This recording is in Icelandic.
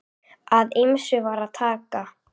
Af ýmsu var að taka.